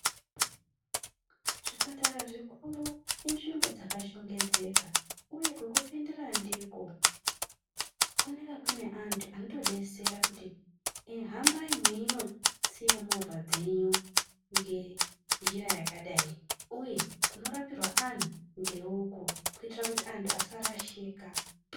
Zvipatara zvikuru inzvimbo dzakachengeteka uye kwekupindira ndiko kunenge kune antu anotodetsera kuti eeh hambai mweinosiya movha dzenyu ngenjira yakadai uye kunorapirwa anhu ngeuku kuitira kuti antu asarashika.